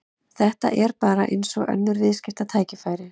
Þetta er bara eins og önnur viðskiptatækifæri.